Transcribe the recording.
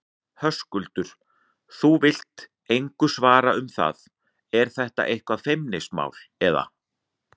Höskuldur: Þú vilt engu svara um það, er þetta eitthvað feimnismál, eða?